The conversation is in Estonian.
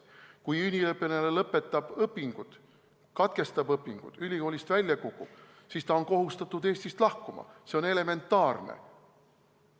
Kui üliõpilane lõpetab õpingud, katkestab õpingud, kukub ülikoolist välja, siis ta on kohustatud Eestist lahkuma – see on elementaarne.